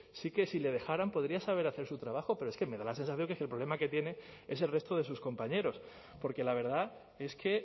sí que si les dejaran podría saber hacer su trabajo pero es que me da la sensación que es que el problema que tiene es el resto de sus compañeros porque la verdad es que